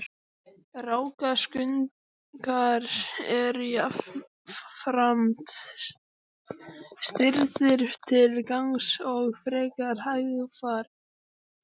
Rákaskunkar eru jafnframt stirðir til gangs og frekar hægfara.